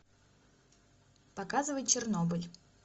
показывай чернобыль